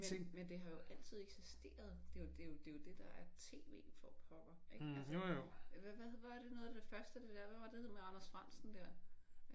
Men det har jo altid eksisteret. Det er jo det er jo det der er TV for pokker ik altså? Hvad var det noget af det første hvad var det det hed med Anders Frandsen der?